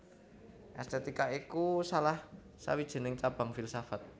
Èstètika iku salah sawijining cabang filsafat